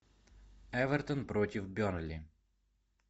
эвертон против бернли